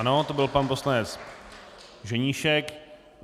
Ano, to byl pan poslanec Ženíšek.